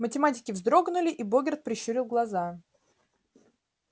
математики вздрогнули и богерт прищурил глаза